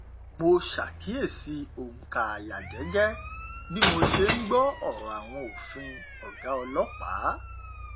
mo ṣàkíyèsí ònkà àyà jẹjẹ bí mo ṣe n gbọ ọrọ àwọn fin ọgá ọlọpàá